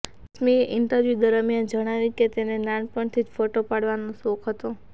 રશ્મિએ interview દરમિયાન જણાવ્યું કે તેને નાનપણથી જ ફોટો પડાવવાનો શોખ હતો